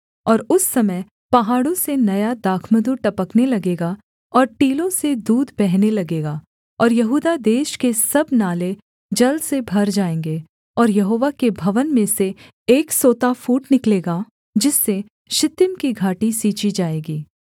और उस समय पहाड़ों से नया दाखमधु टपकने लगेगा और टीलों से दूध बहने लगेगा और यहूदा देश के सब नाले जल से भर जाएँगे और यहोवा के भवन में से एक सोता फूट निकलेगा जिससे शित्तीम की घाटी सींची जाएगी